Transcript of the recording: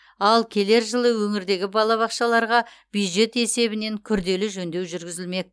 ал келер жылы өңірдегі балабақшаларға бюджет есебінен күрделі жөндеу жүргізілмек